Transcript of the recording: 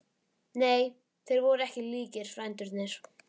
Nei, þeir voru ekki líkir, frændurnir.